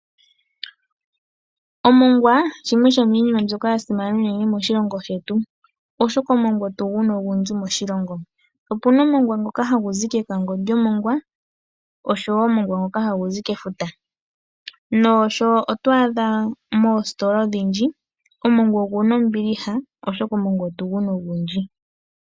Omongwa shimwe shomiinima yasimana moshilongo shetu, oshoka omongwa otuguna ogundji moshilongo. Opuna omongwa ngoka hagu zi kekango lyomongwa naangu hagu zi kefuta no moositola omongwa onguna ombili oshoka omongwa otuguna ogundji.